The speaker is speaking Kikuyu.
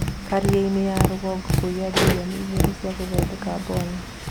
Kĩrĩanĩ ya rugongo kũiya mbirioni igĩrĩ cia gũthondeka mbomu